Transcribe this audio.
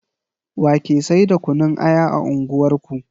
Wa ke sai da kunun aya a unguwar ku